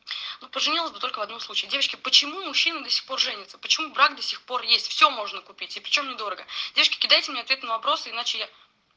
ну поженилась только в одном случае девочки почему мужчины до сих пор женятся почему брак до сих пор есть все можно купить и причём недорого девочки кидайте мне ответы на вопросы иначе я